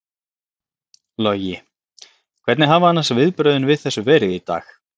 Logi: Hvernig hafa annars viðbrögðin við þessu verið í dag?